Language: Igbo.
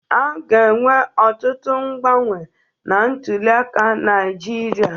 A ga-enwe ọtụtụ mgbanwe na ntuliaka Naịjirịa.